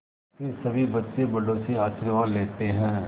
फिर सभी बच्चे बड़ों से आशीर्वाद लेते हैं